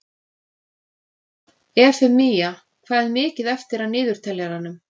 Eufemía, hvað er mikið eftir af niðurteljaranum?